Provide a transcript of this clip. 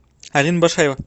алина башаева